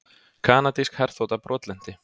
Kanadísk herþota brotlenti